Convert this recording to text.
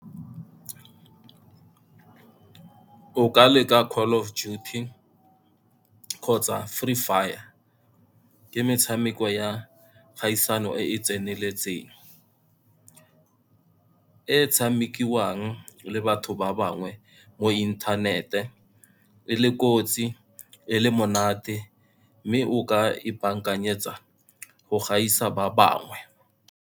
O ka leka Call of Duty kgotsa Free Fire, ke metshameko ya kgaisano e e tseneletseng, e tshamekiwang le batho ba bangwe mo inthanete, e le le kotsi, e le monate, mme o ka ipaakanyetsa go gaisa ba bangwe.